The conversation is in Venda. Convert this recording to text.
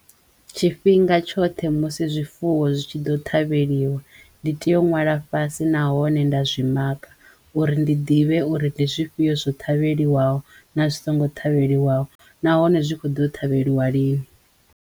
Tshifhinga tshoṱhe musi zwifuwo zwi tshi ḓo ṱhavheliwa ndi teyo u ṅwala fhasi na hone nda zwi makha uri ndi ḓivhe uri ndi zwifhio zwo ṱhavheliwa ho na zwi songo ṱhavheliwa nahone zwi kho ḓo u ṱhavheliwa lini.